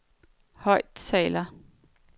højttaler